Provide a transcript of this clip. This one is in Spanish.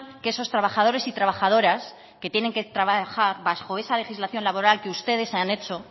que esos trabajadores y trabajadoras que tienen que trabajar bajo esa legislación laboral que ustedes han hecho